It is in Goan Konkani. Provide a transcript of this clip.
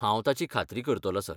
हांव ताची खात्री करतलों, सर.